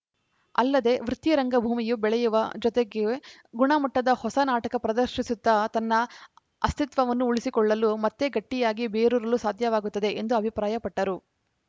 ಅಲ್ಲದೇ ವೃತ್ತಿ ರಂಗಭೂಮಿಯೂ ಬೆಳೆಯುವ ಜೊತೆಗೆ ಗುಣಮಟ್ಟದ ಹೊಸ ನಾಟಕ ಪ್ರದರ್ಶಿಸುತ್ತಾ ತನ್ನ ಅಸ್ತಿತ್ವನ್ನು ಉಳಿಸಿಕೊಳ್ಳಲು ಮತ್ತೆ ಗಟ್ಟಿಯಾಗಿ ಬೇರೂರಲು ಸಾಧ್ಯವಾಗುತ್ತದೆ ಎಂದು ಅಭಿಪ್ರಾಯಪಟ್ಟರು